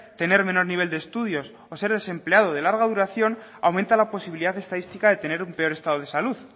tener menor nivel de estudios o ser desempleado de larga duración aumenta la posibilidad estadística de tener un peor estado de salud